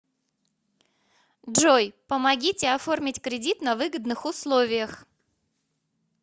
джой помогите оформить кредит на выгодных условиях